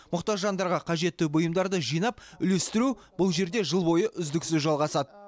мұқтаж жандарға қажетті бұйымдарды жинап үлестіру бұл жерде жыл бойы үздіксіз жалғасады